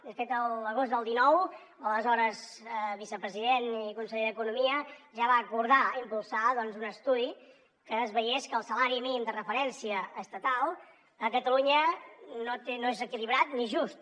de fet l’agost del dinou l’aleshores vicepresident i conseller d’economia ja va acordar impulsar un estudi que s’hi veiés que el salari mínim de referència estatal a catalunya no és equilibrat ni just